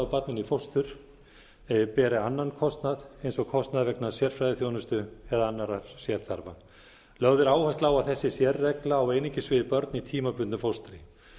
barninu í fóstur beri annan kostnað eins og kostnaðar vegna sérfræðiþjónustu eða annarra sérþarfa lögð er áhersla á að þessi sérregla á einungis við börn í tímabundnu fóstri börn